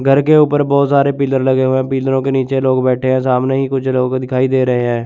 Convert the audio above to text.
घर के ऊपर बहोत सारे पिलर लगे हुए है। पीलारो के नीचे लोग बैठे हैं सामने ही कुछ लोगों को दिखाई दे रहे हैं।